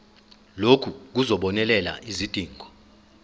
lokhu kuzobonelela izidingo